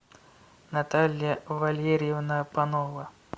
наталья валерьевна панова